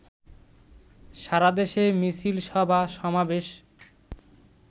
সারাদেশে মিছিল, সভা-সমাবেশ